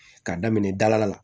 K'a daminɛ dala la